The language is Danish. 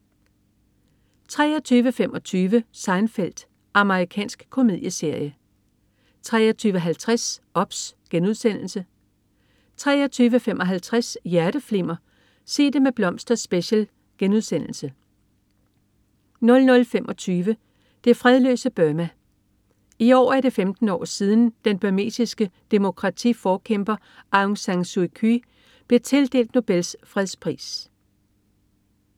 23.25 Seinfeld. Amerikansk komedieserie 23.50 OBS* 23.55 Hjerteflimmer: Sig Det Med Blomster Special* 00.25 Det fredløse Burma. I år er det 15 år siden, den burmesiske demokratiforkæmper Aung San Suu Kyi blev tildelt Nobels fredspris